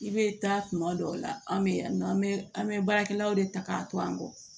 I bɛ taa tuma dɔw la an bɛ yan nɔ an bɛ an bɛ baarakɛlaw de ta k'a to an kɔ